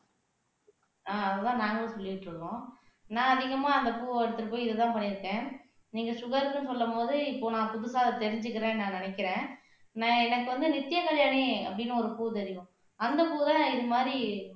ஆஹ் அதுதான் நாங்களும் சொல்லிக்கிட்டு இருக்கோம் நான் அதிகமா அந்தப் பூவை எடுத்துட்டு போய் இதுதான் பண்ணியிருக்கேன் நீங்க சுகர்ன்னு சொல்லும் போது இப்ப நான் புதுசா தெரிஞ்சுக்கிறேன்னு நான் நினைக்கிறேன் நான் எனக்கு வந்து நித்திய கல்யாணி அப்படின்னு ஒரு பூ தெரியும் அந்த பூ தான் இது மாதிரி